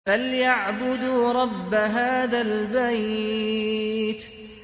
فَلْيَعْبُدُوا رَبَّ هَٰذَا الْبَيْتِ